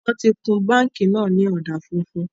Wọn tí kun báńkì náà ni ọ̀dà funfun